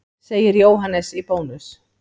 Segir Jóhannes í Bónus.